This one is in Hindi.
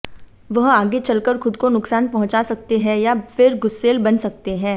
वह आगे चलकर खुद को नुकसान पहुंचा सकते हैं या फिर गुस्सेल बन सकते हैं